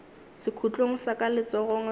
sekhutlong sa ka letsogong la